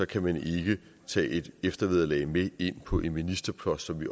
kan man ikke tage et eftervederlag med ind på en ministerpost som vi